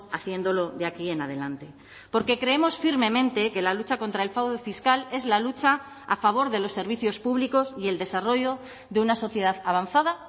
haciéndolo de aquí en adelante porque creemos firmemente que la lucha contra el fraude fiscal es la lucha a favor de los servicios públicos y el desarrollo de una sociedad avanzada